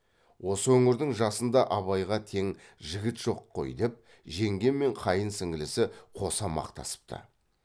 осы өңірдің жасында абайға тең жігіт жоқ қой деп жеңге мен қайын сіңлісі қоса мақтасыпты